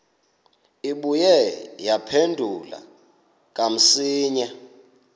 ibuye yaphindela kamsinya